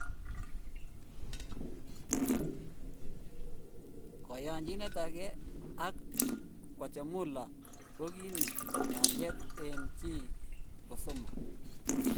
Koyonjinet age ag Guatemala ko gi ni 'kalyet en chi ko somok"